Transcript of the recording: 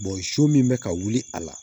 so min bɛ ka wuli a la